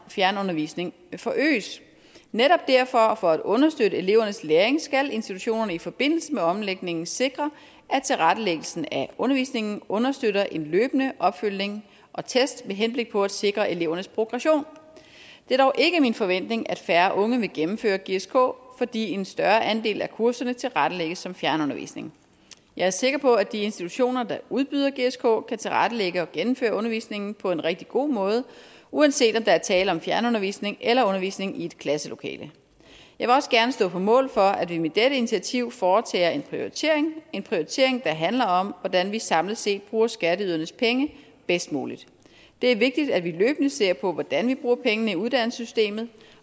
fjernundervisning forøges netop derfor og for at understøtte elevernes læring skal institutionerne i forbindelse med omlægningen sikre at tilrettelæggelsen af undervisningen understøtter en løbende opfølgning og test med henblik på at sikre elevens progression det er dog ikke min forventning at færre unge vil gennemføre gsk fordi en større andel af kurserne tilrettelægge som fjernundervisning jeg er sikker på at de institutioner der udbyder gsk kan tilrettelægge og gennemføre undervisningen på en rigtig god måde uanset om der er tale om fjernundervisning eller undervisning i et klasselokale jeg vil også gerne stå på mål for at vi med dette initiativ foretager en prioritering det en prioritering der handler om hvordan vi samlet set bruger skatteydernes penge bedst muligt det er vigtigt at vi løbende ser på hvordan vi bruger pengene i uddannelsessystemet